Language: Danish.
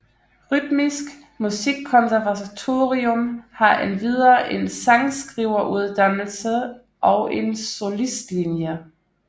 Rytmisk Musikkonservatorium har endvidere en sangskriveruddannelse og en solistlinje